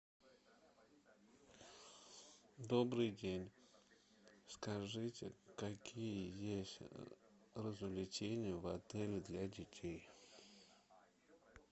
добрый день скажите какие есть развлечения в отеле для детей